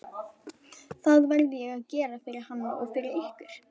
Það verði ég að gera fyrir hann og fyrir ykkur!